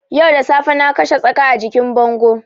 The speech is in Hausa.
Yau da safe na kashe tsaka a jikin bango